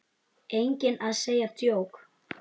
Enginn að segja djók?